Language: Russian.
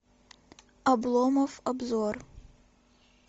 обломов обзор